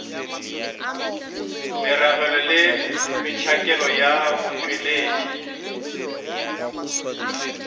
meragelo le metšhakelo ya botšweletši